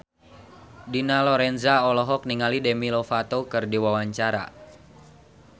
Dina Lorenza olohok ningali Demi Lovato keur diwawancara